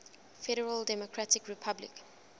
federal democratic republic